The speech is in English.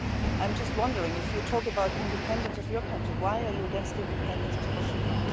I am just wondering, if you talk about the independence of your country, why are you against the independence of Kosovo?